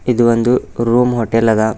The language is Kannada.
ಇದು ಒಂದು ರೂಮ್ ಹೋಟೆಲ್ ಅದ.